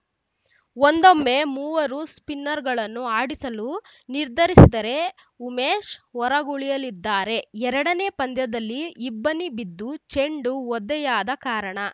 ಒಂದೊಮ್ಮೆ ಮೂವರು ಸ್ಪಿನ್ನರ್‌ಗಳನ್ನು ಆಡಿಸಲು ನಿರ್ಧರಿಸದರೆ ಉಮೇಶ್‌ ಹೊರಗುಳಿಯಲಿದ್ದಾರೆ ಎರಡನೇ ಪಂದ್ಯದಲ್ಲಿ ಇಬ್ಬನಿ ಬಿದ್ದು ಚೆಂಡು ಒದ್ದೆಯಾದ ಕಾರಣ